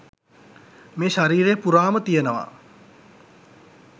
මේ ශරීරය පුරාම තියෙනවා